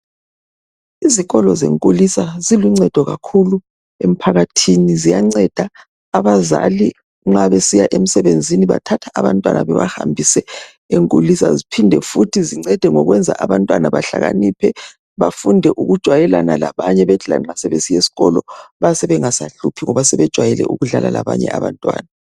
Izikolo zenkulisa ziluncedo kakhulu emphakathini. Ziyanceda abazali nxa besiya emsebenzini bathatha abantwana bebahambise enkulisa, ziphinde futhi zincede ngokwenza abantwana bahlakaniphe bafunde ukujwayelana labanye bethi lanxa sebesiya esikolo bayabe bengasahluphi ngoba sebejwayele ukudlala labanye abantwana.